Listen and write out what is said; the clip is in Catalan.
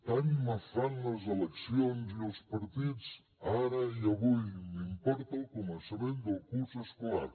tant me fan les eleccions i els partits ara i avui m’importa el començament del curs escolar